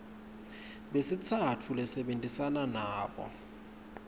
besitsatfu lesebentisana nabo